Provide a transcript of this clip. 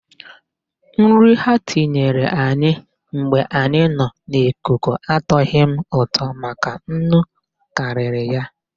Nri ha nyere anyị mgbe anyị nọ n'ikuku atọgho m ụtọ maka nnu karịrị ya.